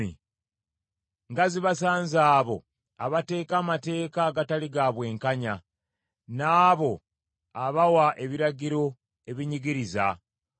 Nga zibasanze abo abateeka amateeka agatali ga bwenkanya, n’abo abawa ebiragiro ebinyigiriza,